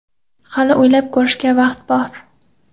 Hali o‘ylab ko‘rishga vaqt bor”.